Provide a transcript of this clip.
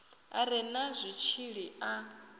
a re na zwitshili a